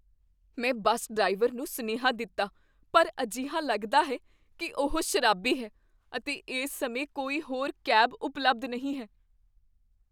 ਮੈਂ bus driver ਨੂੰ ਸੁਨੇਹਾ ਦਿੱਤਾ ਪਰ ਅਜਿਹਾ ਲੱਗਦਾ ਹੈ ਕੀ ਉਹ ਸ਼ਰਾਬੀ ਹੈ ਅਤੇ ਇਸ ਸਮੇਂ ਕੋਈ ਹੋਰ ਕੈਬ ਉਪਲਬਧ ਨਹੀਂ ਹੈ।